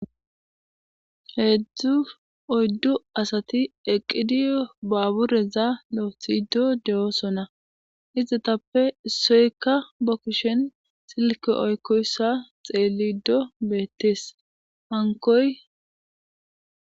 Oydu asati eqid baabureza lo'ethido de'osona , izetappe issoyka ba kushen silke oykoysa xelido betes, hankoy...